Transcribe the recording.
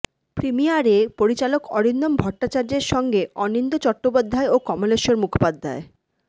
প্রিমিয়ারে পরিচালক অরিন্দম ভট্টাচার্যের সঙ্গে অনিন্দ্য চট্টোপাধ্যায় ও কমলেশ্বর মুখোপাধ্যায়